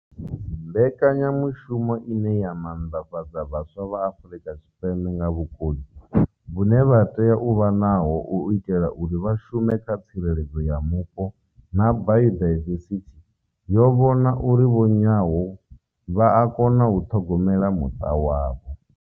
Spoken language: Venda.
Mbekanyamushumo ine ya maanḓafhadza vhaswa vha Afurika Tshipembe nga vhukoni vhune vha tea u vha naho u itela uri vha shume kha tsireledzo ya mupo na bayodaivesithi, yo vho na uri vho Nyawo vha a kona u ṱhogomela muṱa wavho.